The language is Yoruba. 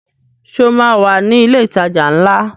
Ṣé o máa wà ní ilé ìtajà ńlá?